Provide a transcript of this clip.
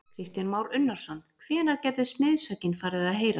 Kristján Már Unnarsson: Hvenær gætu smiðshöggin farið að heyrast?